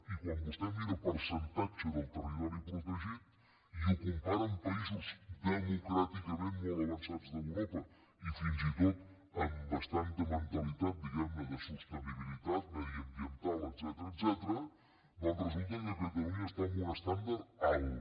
i quan vostè mira el percentatge del territori protegit i ho compara amb països democràticament molt avançats d’europa i fins i tot amb bastanta mentalitat diguem ne de sostenibilitat mediambiental etcètera doncs resulta que catalunya està en un estàndard alt